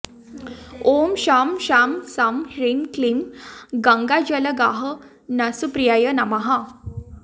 ॐ शं शां षं ह्रीं क्लीं गङ्गाजलगाहनसुप्रियाय नमः